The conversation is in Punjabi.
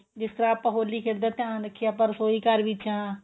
ਜਿਸ ਤਰ੍ਹਾਂ ਆਪਾਂ ਹੋਲੀ ਖੇਡਦੇ ਧਿਆਨ ਰੱਖੀਏ ਆਪਾਂ ਰਸੋਈ ਘਰ ਵਿੱਚ ਹਾਂ